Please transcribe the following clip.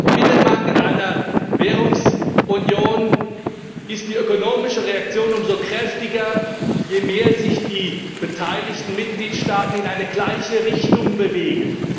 In einem Binnenmarkt, in einer Währungsunion ist die ökonomische Reaktion umso kräftiger, je mehr sich die beteiligten Mitgliedstaaten in eine gleiche Richtung bewegen.